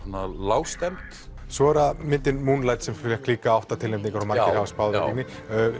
svona lágstemmd svo er það myndin Moonlight sem fékk líka átta tilnefningar og margir hafa spáð henni